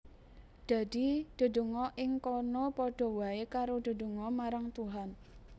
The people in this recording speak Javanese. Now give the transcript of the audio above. Dadi dedonga ing kono padha waé karo dedonga marang Tuhan